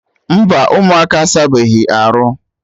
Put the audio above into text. Mba, ụmụaka asabeghi arụ